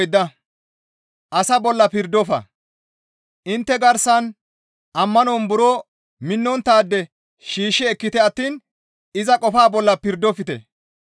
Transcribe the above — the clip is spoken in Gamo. Intte garsan ammanon buro minnonttaade shiishshi ekkite attiin iza qofaa bolla pirdofte.